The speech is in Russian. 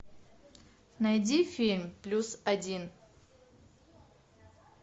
найди фильм плюс один